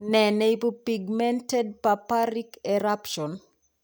Nee neibu pigmented purpuric eruption